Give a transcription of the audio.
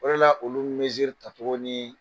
O de la olu mɛnziri ta togo ni